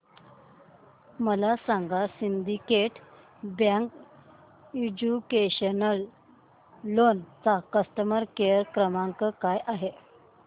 मला सांगा Syndicate Bank educational loan चा कस्टमर केअर क्रमांक काय आहे